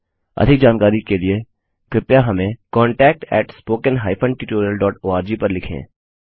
अधिक जानकारी के लिए कृपया हमें contactspoken tutorialorg पर लिखें